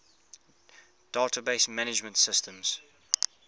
database management systems